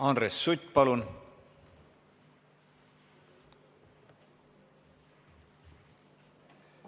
Andres Sutt, palun!